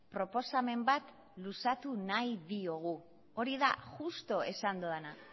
proposamen bat luzatu nahi diogu hori da justu esan dudana